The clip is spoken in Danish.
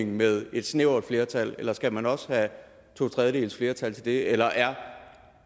med et snævert flertal eller skal man også have et totredjedelsflertal til det eller er